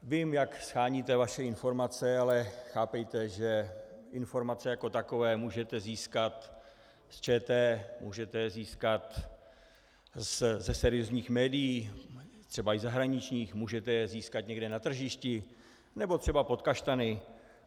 Vím, jak sháníte vaše informace, ale chápejte, že informace jako takové můžete získat z ČT, můžete je získat ze seriózních médií, třeba i zahraničních, můžete je získat někde na tržišti nebo třeba pod kaštany.